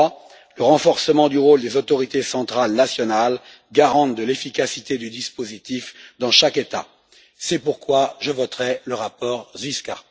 Enfin, le renforcement du rôle des autorités centrales nationales garantes de l'efficacité du dispositif dans chaque État. C'est pourquoi je voterai le rapport Zwiefka.